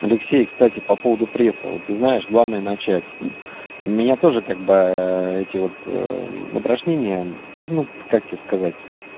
алексей кстати по поводу пресса вот ты знаешь главное начать меня тоже как бы эти вот упражнения ну как тебе сказать